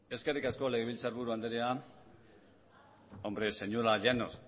eskerrik asko legebiltzarburu andrea hombre señora llanos